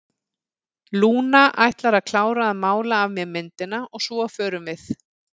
Lúna ætlar að klára að mála af mér myndina og svo förum við.